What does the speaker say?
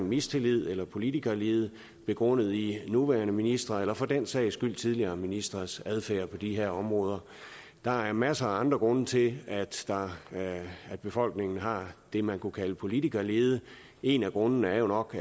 mistillid eller politikerlede begrundet i nuværende ministres eller for den sags skyld tidligere ministres adfærd på de her områder der er masser af andre grunde til at befolkningen har det man kunne kalde politikerlede en af grundene er jo nok